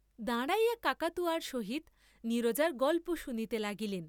দাঁড়াইয়া কাকাতুয়ার সহিত নীরজার গল্প শুনিতে লাগিলেন।